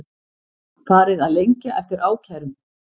Farið að lengja eftir ákærum